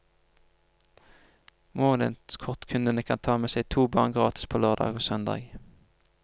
Månedskortkunden kan ta med seg to barn gratis på lørdag og søndag.